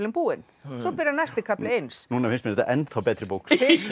búinn svo byrjar næsti kafli eins núna finnst mér þetta ennþá betri bók